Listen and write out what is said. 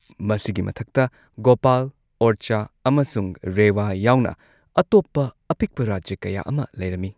ꯃꯁꯤꯒꯤ ꯃꯊꯛꯇ ꯒꯣꯄꯥꯜ, ꯑꯣꯔꯆꯥ ꯑꯃꯁꯨꯡ ꯔꯦꯋꯥ ꯌꯥꯎꯅ ꯑꯇꯣꯞꯄ ꯑꯄꯤꯛꯄ ꯔꯥꯖ꯭ꯌ ꯀꯌꯥ ꯑꯃ ꯂꯩꯔꯝꯃꯤ꯫